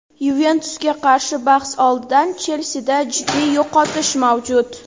"Yuventus"ga qarshi bahs oldidan "Chelsi"da jiddiy yo‘qotish mavjud.